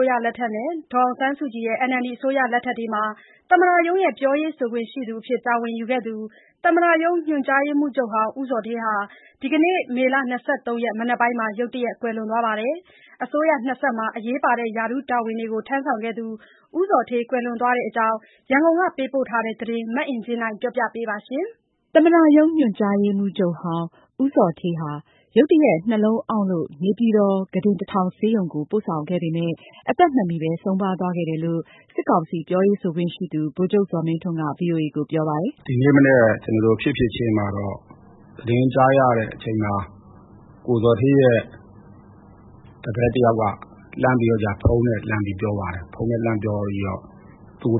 ုးရလက်ထက်နဲ့ ဒေါ်အောင်ဆန်းစုကြည်ရဲ့ NLD အစိုးရလက်ထက်တွေမှာ သမ္မတရုံးရဲ့ ပြောရေးဆိုခွင့်ရှိသူအဖြစ် တာဝန်ယူခဲ့သူ သမ္မတရုံးညွှန်ကြားရေးမှူးချုပ်ဟောင်း ဦးဇော်ဌေးဟာ ဒီကနေ့ မေ ၂၃ ရက် မနက်မှာ ရုတ်တရက်ကွယ်လွန်သွားပါတယ်။ အစိုးရနှစ် ဆက်မှာ အရေးပါတဲ့ရာထူးတာဝန်တွေ ထမ်းဆောင်ခဲ့သူ ဦးဇော်ဌေး ကွယ်လွန်သွားတဲ့အကြောင်း ရန်ကုန်က ပေးပို့တဲ့သတင်းကို မအင်ကြင်းနိုင်က တင်ပြပေးထားပါတယ်။ သမ္မတရုံး ညွန်ကြားရေးမှူးချုပ်ဟောင်း ဦးဇော်ဌေးဟာ ရုတ်တရက် နှလုံးအောင့်လို့ နေပြည်တော် ခုတင်တထောင်ဆေးရုံကို ပို့ဆောင်ခဲ့ပေမယ့် အသက်မမီဘဲ ဆုံးပါးသွားခဲ့တာလို့ စစ်ကောင်စီပြောရေးဆိုခွင့်ရှိသူ ဗိုလ်ချုပ်ဇော်မင်းထွန်းက ဗွီအိုအေကိုပြောပါတယ်။ “ဒီမနက်ဖြစ်ဖြစ်ချင်း သတင်းကြားရတဲ့အချိန်မှာ ကိုဇော်ဌေးတပည့်တယောက်က ဖုန်းနဲ့ လှမ်းပြောပါတယ်။ သူ